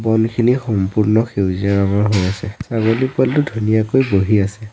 বনখিনি সম্পূৰ্ণ সেউজীয়া ৰঙৰ হৈ আছে ছাগলী পোৱালীটো ধুনীয়াকৈ বহি আছে।